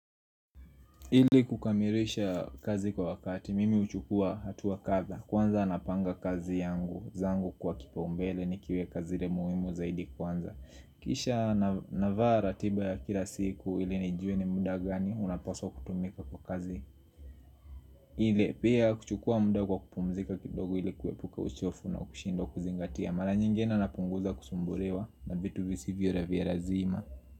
Ili kukamilisha kazi kwa wakati, mimi huchukua hatua kadhaa. Kwanza napanga kazi yangu, zangu kwa kipaumbele nikiweka zile muhimu zaidi kwanza. Kisha navaa ratiba ya kila siku ili nijue ni muda gani unapaswa kutumika kwa kazi ile. Pia kuchukua muda kwa kupumzika kidogo ili kuepuka uchofu na kushindwa kuzingatia. Mara nyingine napunguza kusumbuliwa na vitu visivyo la vya lazima.